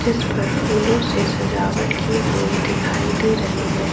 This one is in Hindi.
जिस पर फूलों से सजावट की हुई दिखाई दे रही है।